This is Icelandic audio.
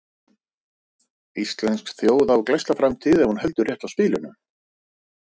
Íslensk þjóð á glæsta framtíð ef hún heldur rétt á spilunum.